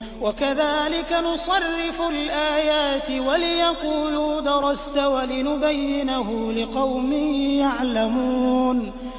وَكَذَٰلِكَ نُصَرِّفُ الْآيَاتِ وَلِيَقُولُوا دَرَسْتَ وَلِنُبَيِّنَهُ لِقَوْمٍ يَعْلَمُونَ